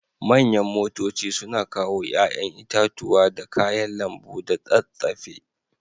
Manyan motoci suna kawo yayan itatuwa da kayan lambu da tsatsafe.